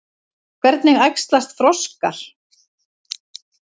Hvernig æxlast froskar?